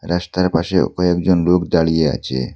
রাস্তার পাশেও কয়েকজন লোক দাঁড়িয়ে আছে।